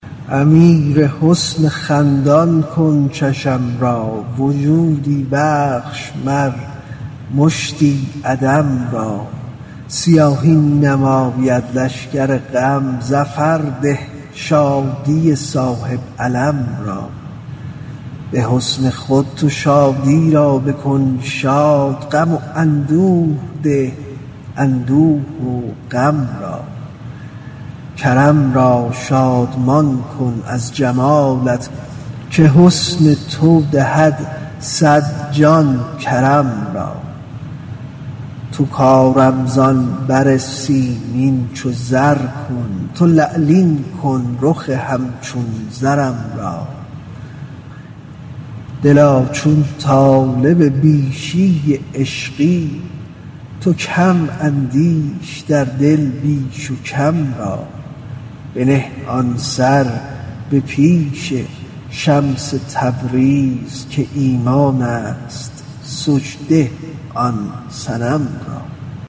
امیر حسن خندان کن حشم را وجودی بخش مر مشتی عدم را سیاهی می نماید لشکر غم ظفر ده شادی صاحب علم را به حسن خود تو شادی را بکن شاد غم و اندوه ده اندوه و غم را کرم را شادمان کن از جمالت که حسن تو دهد صد جان کرم را تو کارم زان بر سیمین چو زر کن تو لعلین کن رخ همچون زرم را دلا چون طالب بیشی عشقی تو کم اندیش در دل بیش و کم را بنه آن سر به پیش شمس تبریز که ایمان ست سجده آن صنم را